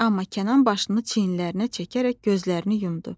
Amma Kənan başını çiyinlərinə çəkərək gözlərini yumdu.